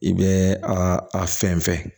I bɛ a a fɛn fɛn